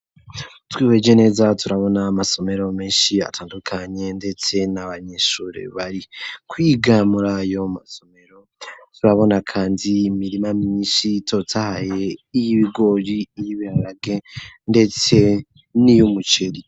Twibege neza turabona amasomero menshi atandukanye ndetse n'abanyeshure bari kwiga mura yo masomero turabona kandi imirima myiinshi itotahaye y'ibigori iyibirarage ndetse n'iy'umuceri.